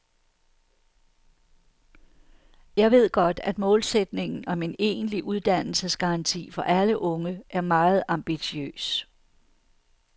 Jeg ved godt, at målsætningen om en egentlig uddannelsesgaranti for alle unge er meget ambitiøs.